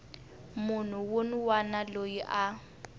munhu wun wana loyi a